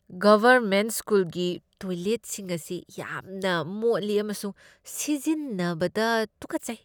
Government ꯁ꯭ꯀꯨꯜꯒꯤ ꯇꯣꯏꯂꯦꯠꯁꯤꯡ ꯑꯁꯤ ꯌꯥꯝꯅ ꯃꯣꯠꯂꯤ ꯑꯃꯁꯨꯡ ꯁꯤꯖꯤꯟꯅꯕꯗ ꯇꯨꯀꯠꯆꯩ꯫